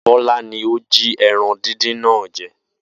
Bó̩lá ni ó jí e̩ran díndín náà je